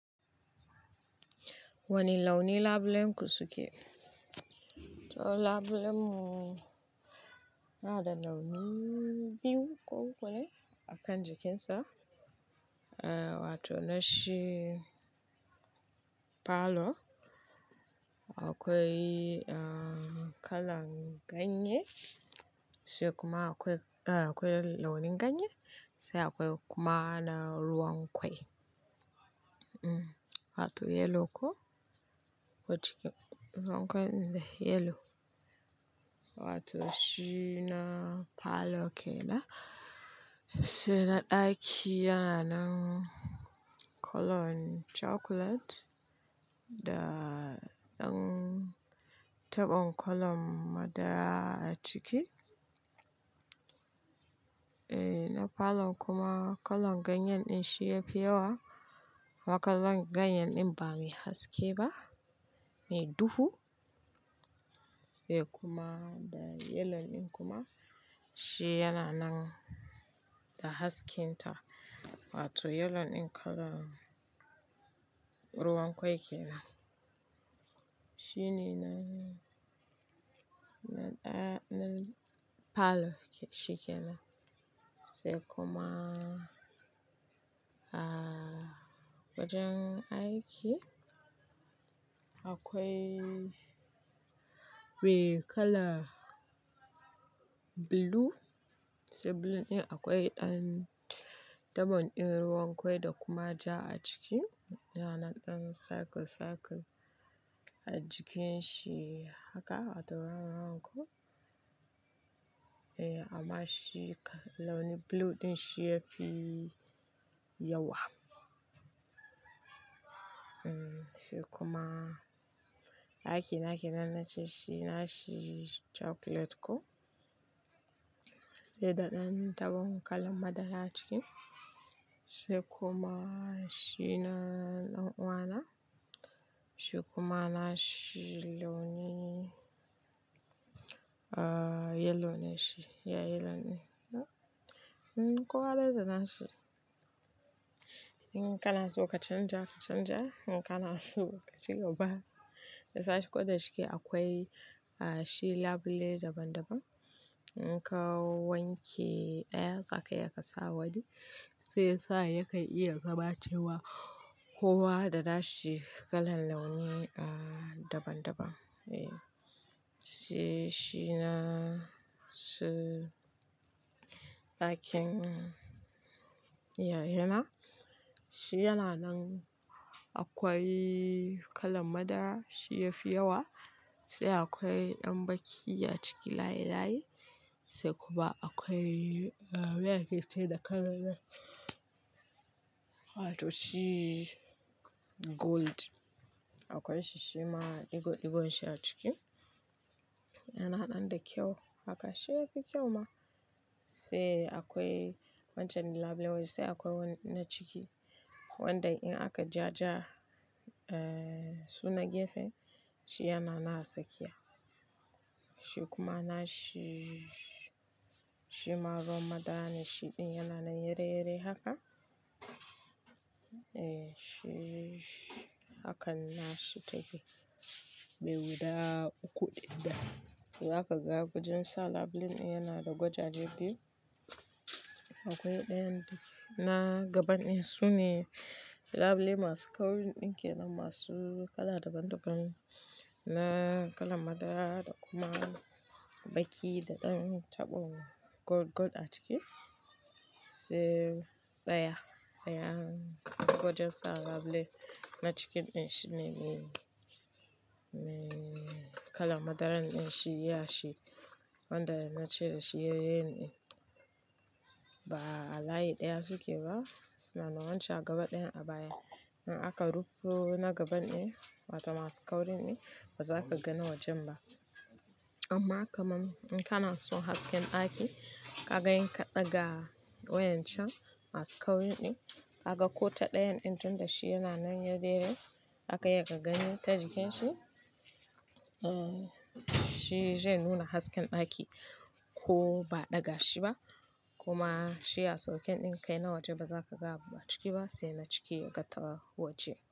Wane launi labule kuke suke? Labulen mu yana da launi biyu a kan jikinsa. Wato na shi falo, akwai kalan ganye,, se kuma akwai-- launin ganye, se akwai kuma na ruwan kwai wato yellow ko, ruwan kwai, yellow. Wato shi na parlour kenan. Sai na ɗaki yana nan kalan chocolate da ɗan taɓon kalan madara a ciki. Na parlour kuma kalan ganye ɗin shi yafi yawa. Kuma kalan ganye ɗin ba mai haske ba, me duhu sai kuma da yellow ɗin kuma shi yana nan da hasken ta. Wato yellow ɗin kalan ruwan kwai kenan. Shi ne na parlour shi kenan. Sai kuma wajen aiki akwai mai kala mai duhu, sai blue ɗin akwai ɗan taɓon ɗin ruwan kwai da kuma ja a ciki. Yana nan ɗan circle circle a jikin shi haka a da round round ko. Amma shi blue din shi yafi yawa sai kuma dakina nace shi nashi chocolate koh? Sai da dan tabon kalan madara a ciki sai kuma shi na ɗan'uwa na. Shi kuma nashi launi yellow ne shi. Yayi launi. Kowa dai da na shi, in kana so ka canja ka canja in kana so kacigaba. Ko da shike akwai shi labule daban-daban. In ka wanke ɗaya za ka iya ka sa wani. Shiyasa ya kan iya zama cewa kowa da na shi kalan launi daban-daban. Sai shi na su ɗakin yayana. Shi yana nan akwai kalan madara shi yafi yawa sai akwai ɗan baki a ciki layi layi sai kuma akwai meye ake ce da kalan nan? Wato shi gold. Akwai shi shima digo digo shi a ciki. Yana nan da kyau haka shi yafi kyau ma. Sai akwai wancan labulen sai akwai wani na ciki wanda in aka ja-ja suna gefe shi yana nan a tsakiya. Shi kuma na shi shima ruwan madara ne shi ɗin yana nan yare yare haka. Eh shi hakan na shi take. Me guda uku ɗaya. Zaka ga wajen sa label ɗin yana da gwajajje biyu. Akwai ɗayan na gaban ɗin su ne labule masu kauri ɗin kenan masu kala daban-daban na kalan madara da kuma baki da ɗan taɓon gold gold a ciki. Sai ɗaya, ɗayan gwajen sa labule na cikin ɗin shi ne kalan madaran nan shi ya shi wanda na ce shi yareyare ɗin. Ba a layi ɗaya suke ba suna nan wancan a gaba ɗayan a baya. In aka rufo na gaban ɗin wato masu kauri ɗin ba za ka gani wajen ba. Amma kamun in kana son hasken ɗaki ka ga in ka ɗaga wayan can masu kauri ɗin ka ga ko ta ɗayan ɗin tun da shi yana nan yare yare zaka iya ka gani ta jikin shi. Shi zai nuna hasken ɗaki ko ba a ɗaga shi ba kuma shi a sauƙen ɗin kai na waje ba za ka ga abun ciki ba sai na ciki yaga ta waje.